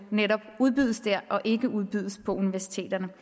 netop udbydes der og ikke udbydes på universiteterne